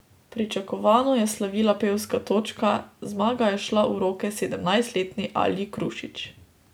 Pričakovano je slavila pevska točka, zmaga je šla v roke sedemnajstletni Alji Krušič.